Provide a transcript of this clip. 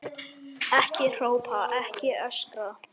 Ekki hrópa, ekki öskra!